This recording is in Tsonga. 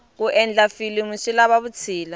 ku endla filimu swi lava vutshila